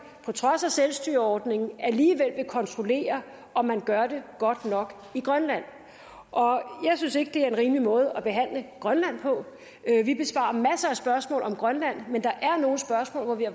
på trods af selvstyreordningen alligevel vil kontrollere om man gør det godt nok i grønland jeg synes ikke det er en rimelig måde at behandle grønland på vi besvarer masser af spørgsmål om grønland men der er nogle spørgsmål hvor vi